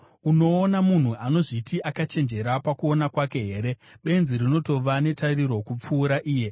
Unoona munhu anozviti akachenjera pakuona kwake here? Benzi rinotova netariro kupfuura iye.